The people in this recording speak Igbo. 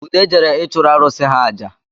Ude jere ịchụrụ arụ̣sị̣ ha aja